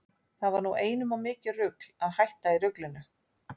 Það var nú einum of mikið rugl að hætta í ruglinu.